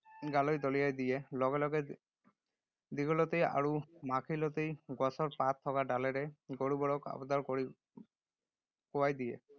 গালৈ দলিয়াই দিয়ে। লগে লগে দীঘলতি আৰু মাখিলতি গছৰ পাত থকা ডালেৰে গৰুবোৰক আবদাৰ কৰি কোবাই দিয়ে।